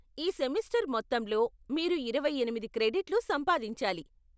ఈ సెమిస్టర్ మొత్తంలో మీరు ఇరవై ఎనిమిది క్రెడిట్లు సంపాదించాలి.